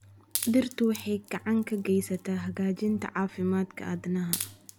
Dhirtu waxay gacan ka geysataa hagaajinta caafimaadka aadanaha.